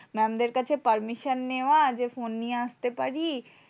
Mam দের কাছে permission নেওয়া, যে ফোন নিয়ে আসতে পারি?